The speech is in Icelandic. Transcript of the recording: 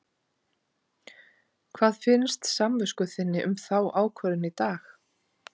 Hvað finnst samvisku þinni um þá ákvörðun í dag?